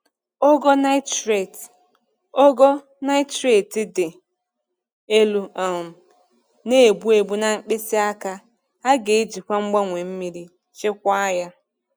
Ogo nitrate Ogo nitrate dị elu um na-egbu egbu na mkpịsị aka, a ga-ejikwa mgbanwe mmiri chịkwaa ya.